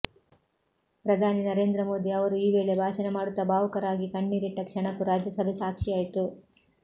ಪ್ರಧಾನಿ ನರೇಂದ್ರ ಮೋದಿ ಅವರು ಈ ವೇಳೆ ಭಾಷಣ ಮಾಡುತ್ತಾ ಭಾವುಕರಾಗಿ ಕಣ್ಣೀರಿಟ್ಟ ಕ್ಷಣಕ್ಕೂ ರಾಜ್ಯಸಭೆ ಸಾಕ್ಷಿಯಾಯಿತು